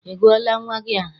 Ị gụọla nnwa gị aha?